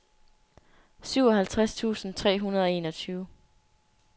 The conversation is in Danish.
syvoghalvtreds tusind tre hundrede og enogtyve